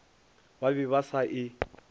ba be ba sa e